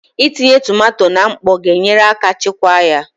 Itinye tomato na mkpọ ga-enyere aka chekwaa ya